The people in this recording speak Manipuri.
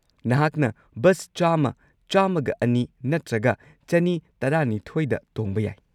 ꯅꯍꯥꯛꯅ ꯕꯁ ꯱꯰꯰, ꯱꯰꯲ ꯅꯠꯇ꯭ꯔꯒ ꯲꯱꯲ꯗ ꯇꯣꯡꯕ ꯌꯥꯏ꯫